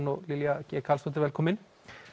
og Lilja velkomin